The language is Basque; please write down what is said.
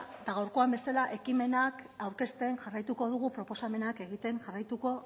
eta gaurkoan bezala ekimenak aurkezten jarraituko dugu proposamenak egiten jarraituko